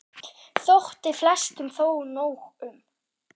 Þótti flestum þó nóg um.